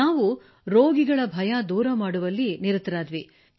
ನಾವು ರೋಗಿಗಳ ಭಯ ದೂರ ಮಾಡುವಲ್ಲಿ ನಿರತರಾದೆವು ಸರ್